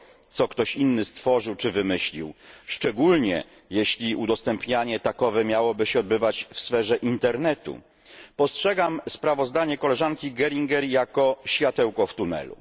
co ktoś inny stworzył czy wymyślił, szczególnie, jeśli udostępnianie takowe miałoby się odbywać w sferze internetu, postrzegam sprawozdanie posłanki Geringer jako światełko w tunelu.